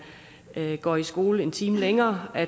går i skole en time længere